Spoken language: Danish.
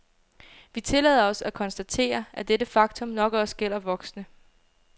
Vi tillader os at konstatere, at dette faktum nok også gælder voksne.